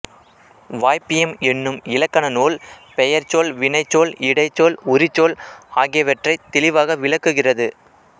வாய்ப்பியம் என்னும் இலக்கணநூல் பெயர்ச்சொல் வினைச்சொல் இடைச்சொல் உரிச்சொல் ஆகியவற்றைத் தெளிவாக விளக்குகிறது